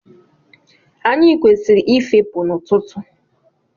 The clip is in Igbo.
Anyị kwesịrị ị fepụ n'ọtụtụ.